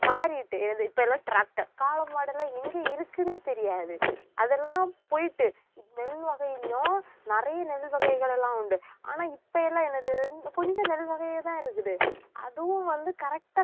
மாறிட்டு வந்~ இப்ப எல்லாம் tractor காளை மாடெல்லாம் எங்க இருக்குன்னே தெரியாது அதெல்லாம் போயிட்டு நெல் வகைகளையும் நிறைய நெல் வகைகள் எல்லாம் உண்டு ஆனா இப்ப எல்லாம் எனக்கு தெரிஞ்~ கொஞ்சம் நெல் வகையாதான் இருக்குது அதுவும் வந்து correct அ